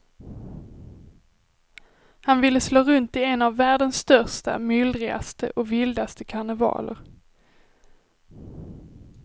Han ville slå runt i en av världens största, myllrigaste och vildaste karnevaler.